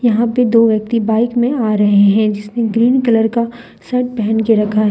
यहां पे दो व्यक्ति बाइक में आ रहे है जिसमे ग्रीन कलर का शर्ट पहन के रखा है।